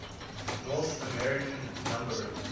north american numbering